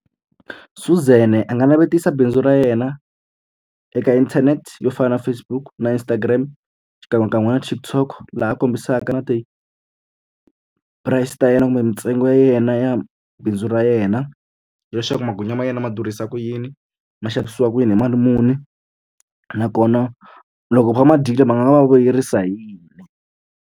Suzan a nga navetisa bindzu ra yena eka internet yo fana na Facebook, na Instagram xikan'wekan'we na TikTok, laha kombisaka na ti-price ta yena kumbe ntsengo ya yena ya bindzu ra yena. Leswaku magwinya ma yena ma durhisa ku yini, ma xavisiwa ku yini, hi mali muni, nakona loko ma va ma dyile ma nga va vuyerisa hi yini.